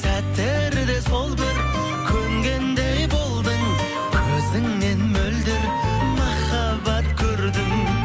сәттерде сол бір көнгендей болдың көзіңнен мөлдір махаббат көрдім